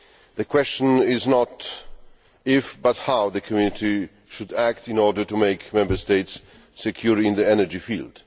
The question is not if, but how, the Community should act in order to make Member States secure in the energy field.